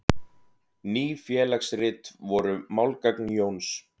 Ný félagsrit voru málgagn Jóns.